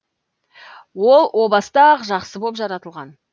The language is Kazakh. ол о баста ақ жақсы боп жаратылған